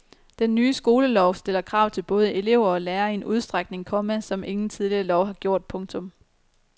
Den nye skolelov stiller krav til både elever og lærere i en udstrækning, komma som ingen tidligere lov har gjort. punktum